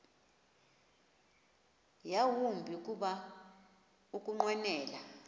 yawumbi kuba ukunqwenela